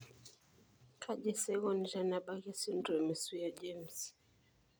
Kaji sa eikoni tenebaki esindirom eSwyer James?